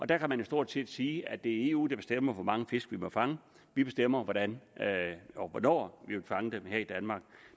der kan man jo stort set sige at det er eu der bestemmer hvor mange fisk vi må fange vi bestemmer hvordan og hvornår vi vil fange dem her i danmark